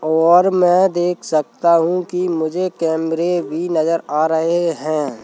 और मैं देख सकता हूं कि मुझे कैमरे भी नजर आ रहे हैं।